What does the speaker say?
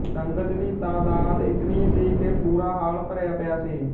ਸੰਗਤ ਦੀ ਤਾਦਾਦ ਇਤਨੀ ਸੀ ਕਿ ਪੂਰਾ ਹਾਲ ਭਰਿਆ ਪਿਆ ਸੀ